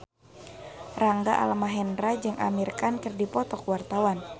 Rangga Almahendra jeung Amir Khan keur dipoto ku wartawan